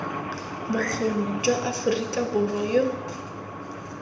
bokgoni jwa aforika borwa yo